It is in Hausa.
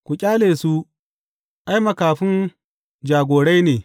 Ku ƙyale su, ai, makafin jagorai ne.